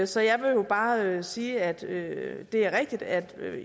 så jeg vil bare sige at det er rigtigt at